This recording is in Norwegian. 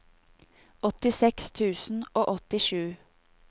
åttiseks tusen og åttisju